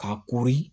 K'a kori